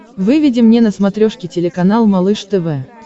выведи мне на смотрешке телеканал малыш тв